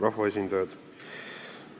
Rahvaesindajad!